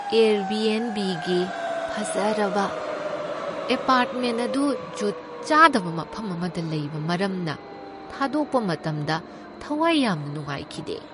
ꯑꯦꯔꯕꯤꯑꯦꯟꯕꯤꯒꯤ ꯐꯖꯔꯕ ꯑꯦꯄꯥꯔ꯭ꯠꯃꯦꯟ ꯑꯗꯨ ꯖꯨꯠ ꯆꯥꯗꯕ ꯃꯐꯝ ꯑꯃꯗ ꯂꯩꯕ ꯃꯔꯝꯅ ꯊꯥꯗꯣꯛꯄ ꯃꯇꯝꯗ ꯊꯋꯥꯏ ꯌꯥꯝꯅ ꯅꯨꯡꯉꯥꯏꯈꯤꯗꯦ ꯫